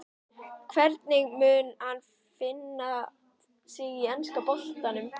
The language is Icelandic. Hvernig mun hann finna sig í enska boltanum?